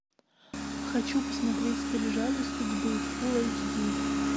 хочу посмотреть скрижали судьбы фул эйч ди